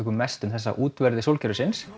mest um þessa útverði sólkerfisins